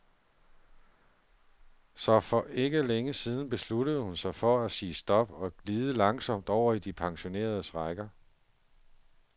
Så for ikke længe siden besluttede hun sig for at sige stop og glide langsomt over i de pensioneredes rækker.